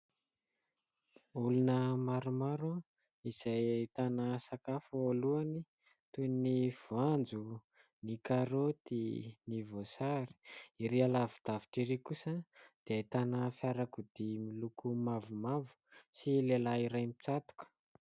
Olona maromaro izay ahitana sakafo eo alohany toy ny : voanjo, ny karoty, ny voasary ery alavi- davitra ery kosa dia ahitana fiarakodia miloko mavomavo sy lehilahy iray misatroka.